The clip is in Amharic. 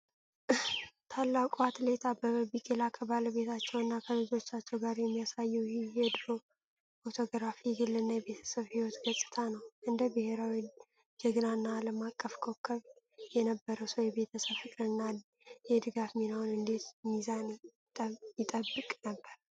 ታላቁ አትሌት አበበ ቢቂላ ከባለቤታቸውና ከልጆቻቸው ጋር የሚያሳየው ይህ የድሮ ፎቶግራፍ የግልና የቤተሰብ ሕይወት ገጽታ ነው። እንደ ብሔራዊ ጀግና እና ዓለም አቀፍ ኮከብ የነበረው ሰው የቤተሰብ ፍቅርንና የድጋፍ ሚናውን እንዴት ሚዛን ይጠብቅ ነበር?